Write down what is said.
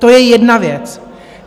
To je jedna věc.